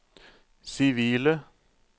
sivile